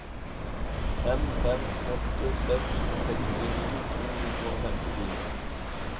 fem fem åtte seks sekstini to hundre og femtifire